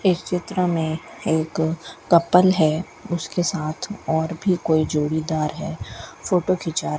इस चित्र में एक कपल है उसके साथ और भी कोई जोड़ीदार है फोटो खींचा --